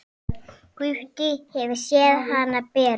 Gutti hefur séð hana bera.